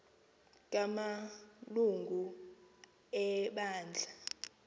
kama lungu ebandla